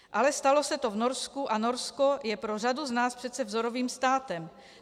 Ale stalo se to v Norsku a Norsko je pro řadu z nás přece vzorovým státem.